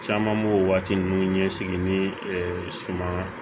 Caman b'o waati ninnu ɲɛsigi ni suman